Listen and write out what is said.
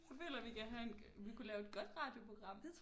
Føler vi kan have vi kunne lave et godt radioprogram